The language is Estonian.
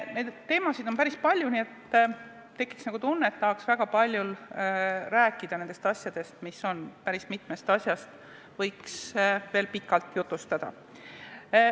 Neid teemasid on päris palju, nii et tekiks nagu tunne, et tahaks nendest asjadest väga palju rääkida, päris mitmest asjast võiks veel pikalt jutustada.